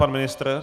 Pan ministr?